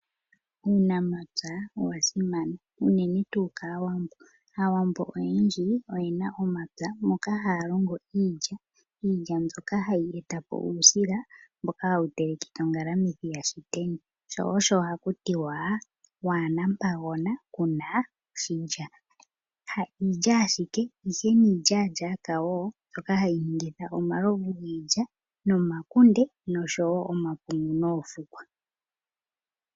Uunamapya owa simana unene tuu kAawambo. Aawambo oyendji oyena omapya moka haya longo iilya mbyoka hayi etapo uusila mbono hawu telekitha ongalamwithi yashiteni sho osho hakutiwa waana ompagona kuna iilya. Ha iilya owala ihe niilyalyaka mbyoka hayi longithwa oku ninga omalovu giilya, omakunde nosho omapungu noofukwa.